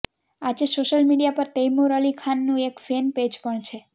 આજે social media પર તૈમુર અલિ ખાનનું એક ફેન પેજ પણ છે